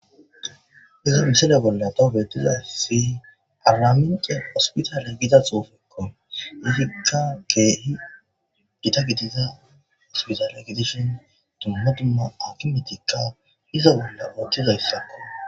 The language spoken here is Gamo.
iza misele bolla tobeettizasi paramince ospitale gida xoofekko izikka keehi gita gitiza ospitale gitishin tummatumma akimetikka hiza bolla ooththiza yssakko